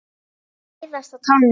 Læðast á tánum.